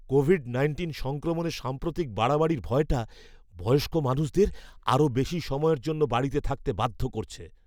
Covid nineteen সংক্রমণের সাম্প্রতিক বাড়াবাড়ির ভয়টা বয়স্ক মানুষদের আরও বেশি সময়ের জন্য বাড়িতে থাকতে বাধ্য করছে।